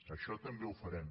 això també ho farem